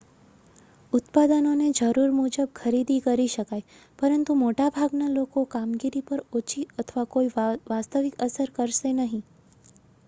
ઉત્પાદનો ને જરૂર મુજબ ખરીદી શકાય, પરંતુ મોટા ભાગના લોકોકામગીરી પર ઓછી અથવા કોઈ વાસ્તવિક અસર કરશે નહીં